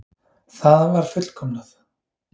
Það var fullkomnað.